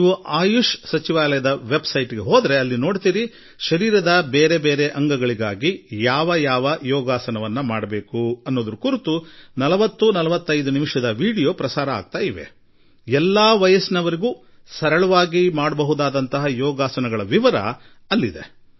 ನೀವು ಆಯುಷ್ ಸಚಿವಾಲಯದ website ಗೆ ಹೋದರೆ 40ರಿಂದ 45 ನಿಮಿಷದ ವಿಡಿಯೋದಲ್ಲಿ ಒಂದರ ನಂತರ ಒಂದರಂತೆ ದೇಹದ ಭಿನ್ನ ಭಿನ್ನ ಭಾಗಗಳಿಗಾಗಿ ಯಾವ ರೀತಿಯ ಯೋಗ ಮಾಡಬಹುದು ಎಲ್ಲಾ ವಯಸ್ಸಿನವರು ಮಾಡಬಹುದಾದ ಸರಳ ಯೋಗ ವಿಧಾನಗಳ ಒಂದು ಉತ್ತಮ ವೀಡಿಯೋ ನೋಡಬಹುದಾಗಿದೆ